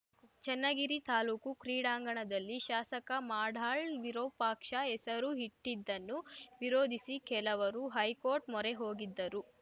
ಚನ್ನಗಿರಿ ತಾಲೂಕು ಕ್ರೀಡಾಂಗಣದಲ್ಲಿ ಶಾಸಕ ಮಾಡಾಳ್‌ ವಿರೂಪಾಕ್ಷ ಹೆಸರು ಇಟ್ಟಿದ್ದನ್ನು ವಿರೋಧಿಸಿ ಕೆಲವರು ಹೈಕೋರ್ಟ್ ಮೊರೆ ಹೋಗಿದ್ದರು